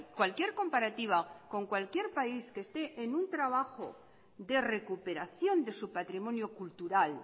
cualquier comparativa con cualquier país que esté en un trabajo de recuperación de su patrimonio cultural